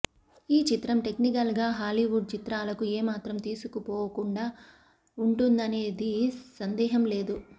ఈ చిత్రం టెక్నికల్ గా హలీవుడ్ చిత్రాలకు ఏమాత్రం తీసుపోకుండా వుంటుందనేది సందేహం లేదు